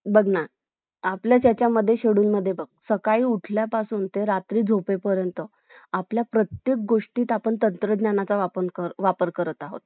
जे कारण तुला पण काम नाही राहील अन मला पण नाही राहील तर आपण freemind ना आपण आपल्या वस्तू पाहू शकतो नाही तर मग गडबडीत काही पण घेतलं न काही पण घेऊन आलं तर चांगला नाही ना